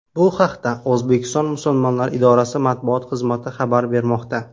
Bu haqda O‘zbekiston Musulmonlari idorasi matbuot xizmati xabar bermoqda .